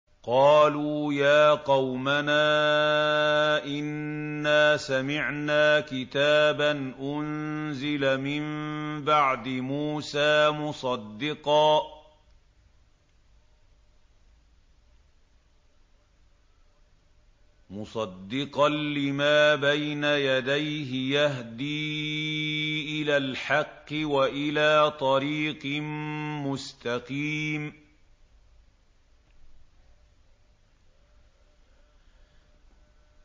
قَالُوا يَا قَوْمَنَا إِنَّا سَمِعْنَا كِتَابًا أُنزِلَ مِن بَعْدِ مُوسَىٰ مُصَدِّقًا لِّمَا بَيْنَ يَدَيْهِ يَهْدِي إِلَى الْحَقِّ وَإِلَىٰ طَرِيقٍ مُّسْتَقِيمٍ